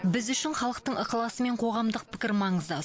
біз үшін халықтың ықыласы мен қоғамдық пікір маңызды